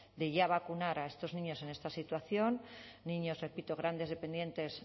de ya vacunar a estos niños en esta situación niños repito grandes dependientes